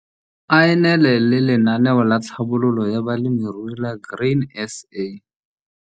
A e nele le Lenaneo la Tlhabololo ya Balemirui la Grain SA!